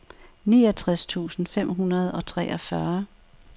niogtres tusind fem hundrede og treogfyrre